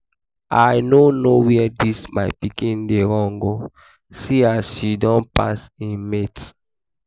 i no know where dis my pikin dey run go see as she don pass im mates